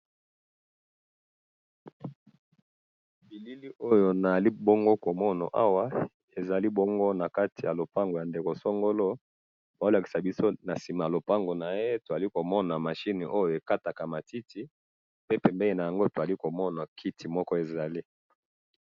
bilili oyo nazali bongo komona liboso nangayi awa tozali komona machine oyo ekataka matiti pe nasima nayango tozali komona kiti ezali